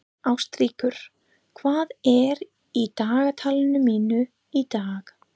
Ástríkur, hvað er í dagatalinu mínu í dag?